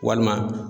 Walima